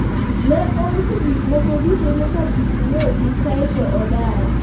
ne ouso gik moko duto nyaka gik wegi kaeto odar